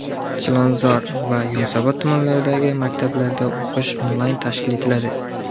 Chilonzor va Yunusobod tumanlaridagi maktablarda o‘qish onlayn tashkil etiladi.